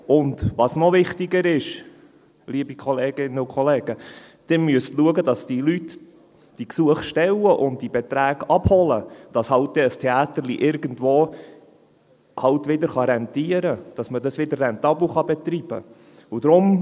Und was noch wichtiger ist, liebe Kolleginnen und Kollegen: Sie müssen schauen, dass die Leute diese Gesuche stellen und diese Beträge abholen, damit ein «Theäterli» halt irgendwo wieder rentieren kann, damit man es wieder rentabel betreiben kann.